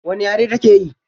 Wane yare take yi?